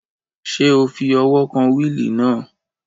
Ṣé o fi ọwọ́ kan wíìlì náà?